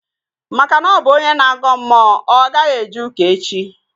Maka na ọ bụ onye na-agọ mmụọ, ọ gaghị eje ụka echi